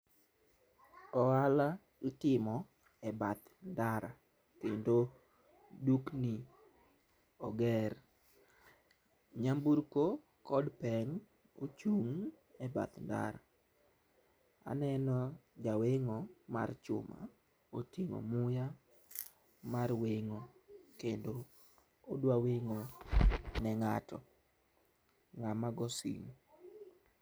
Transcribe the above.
ohala itimo e bath ndara kendo dukni oger. Nyamburko kod peng' ochung' e bath ndara. Aneno jaweng'o mar chuma koting'o muya mar weng'o kendo odwa weng'o ne ng'ato ng'ama go simu